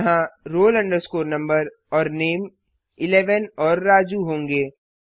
यहाँ roll number और नामे 11 और राजू होंगे